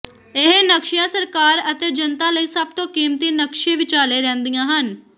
ਇਹ ਨਕਸ਼ਿਆਂ ਸਰਕਾਰ ਅਤੇ ਜਨਤਾ ਲਈ ਸਭ ਤੋਂ ਕੀਮਤੀ ਨਕਸ਼ੇ ਵਿਚਾਲੇ ਰਹਿੰਦੀਆਂ ਹਨ